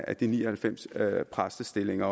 af de ni og halvfems særpræstestillinger